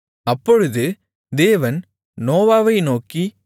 அப்பொழுது தேவன் நோவாவை நோக்கி